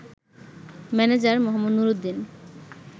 manager Mohammad Nuruddin